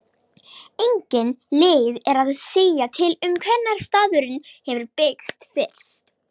Engin leið er að segja til um hvenær staðurinn hefur byggst fyrst.